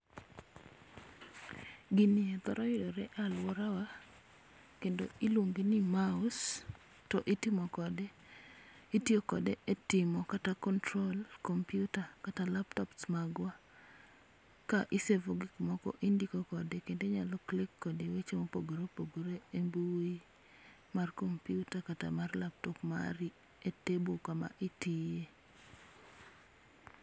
Giniye thoro yudore e alworawa, kendo iluonge ni maus, to itimo kode, itiyo kode e timo kata control kompiuta kata laptops magwa. Ka i save o gik moko indiko kode kendo inyalo click kode weche mopogore opogore e mbui, mar kompiuta kata mar laptop mari e table kama itiye